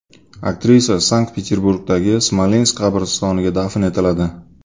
Aktrisa Sankt-Peterburgdagi Smolensk qabristoniga dafn etiladi.